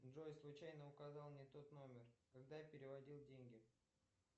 джой случайно указал не тот номер когда переводил деньги